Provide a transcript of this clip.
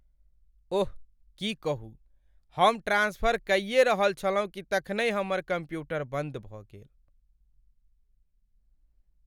ओह, की कहू, हम ट्रान्सफर कइये रहल छलहुँ कि तखनहि हमर कम्प्यूटर बन्द भऽ गेल।